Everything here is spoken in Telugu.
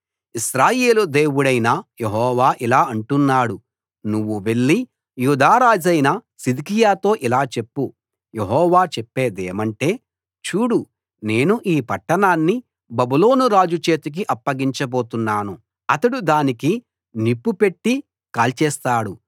ఇశ్రాయేలు దేవుడైన యెహోవా ఇలా అంటున్నాడు నువ్వు వెళ్లి యూదా రాజైన సిద్కియాతో ఇలా చెప్పు యెహోవా చెప్పేదేమంటే చూడు నేను ఈ పట్టణాన్ని బబులోను రాజు చేతికి అప్పగించబోతున్నాను అతడు దానికి నిప్పుపెట్టి కాల్చేస్తాడు